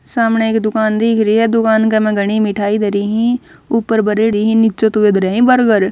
सामणह एक दुकान दिख री ह दुकान क म्ह घणी ए मिठाई धरी हं ऊपर भरेडी ह नीचे त वे धरयां हं बर्गर ।